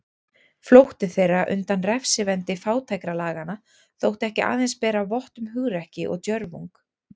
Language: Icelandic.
Flótti þeirra undan refsivendi fátækralaganna þótti ekki aðeins bera vott um hugrekki og djörfung.